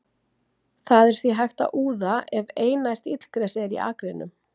Það er því hægt að úða ef einært illgresi er í akrinum.